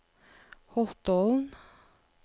Holtålen